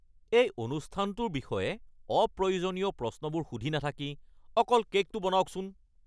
এই অনুষ্ঠানটোৰ বিষয়ে অপ্ৰয়োজনীয় প্ৰশ্নবোৰ সুধি নাথাকি অকল কে'কটো বনাওকচোন।